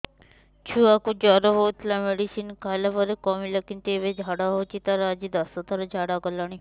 ଛୁଆ କୁ ଜର ହଉଥିଲା ମେଡିସିନ ଖାଇଲା ପରେ କମିଲା କିନ୍ତୁ ଏବେ ଝାଡା ହଉଚି ତାର ଆଜି ଦଶ ଥର ଝାଡା କଲାଣି